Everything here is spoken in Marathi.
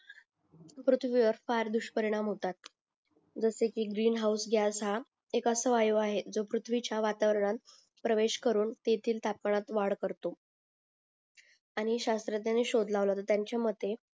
पृथ्वीवर फार दुष्परिणाम होतात जसे की ग्रीन हाऊस हा